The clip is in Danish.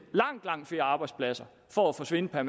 langt langt flere arbejdspladser forsvinder